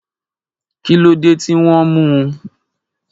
Kí ló dé tí wọ́n mú un?